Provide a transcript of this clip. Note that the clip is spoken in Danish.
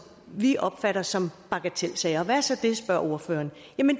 vi opfatter som bagatelsager og hvad er det så spørger ordføreren